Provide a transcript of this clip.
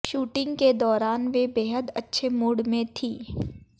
shooting के दौरान वे बेहद अच्छे मूड में थीं